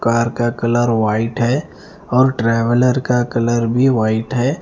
Car का colour white है और ट्रेवलर का कलर भी व्हाइट है।